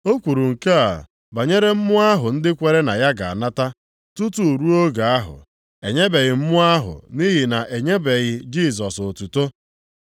O kwuru nke a banyere Mmụọ ahụ ndị kwere na ya ga-anata. Tutu ruo oge ahụ, e nyebeghị Mmụọ ahụ, nʼihi na e nyebeghị Jisọs otuto.